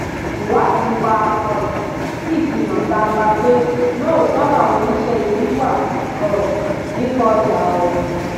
ìwádìí wa um sì fi hàn gbangba pé lóòótọ làwọn oníṣẹ ibi wà um nínú ọjà ọhún